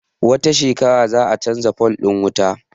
Wata shekarar za a canza fol ɗin wutar